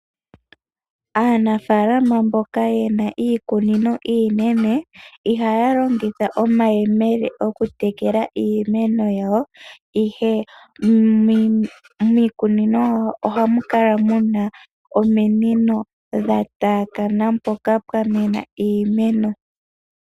Aanafaalama mboka ye na iikunino iinene ihaya longitha omayemele okutekela iimeno yawo, ihe miikunino yawo ohamu kala mu na ominino dha taakana mpoka pwa mena iimeno.